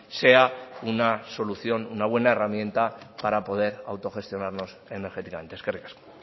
sea una solución una buena herramienta para poder autogestionarnos energéticamente eskerrik asko